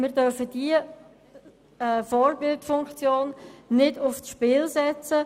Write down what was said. Diese Vorbildfunktion dürfen wir nicht aufs Spiel setzen.